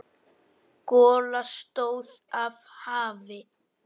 Gola stóð af hafi.